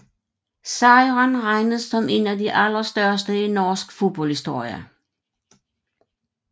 Sejren regnes som en af de allerstørste i norsk fodboldhistorie